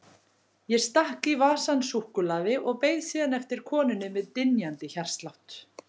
Ég stakk í vasann súkkulaði og beið síðan eftir konunni með dynjandi hjartslátt.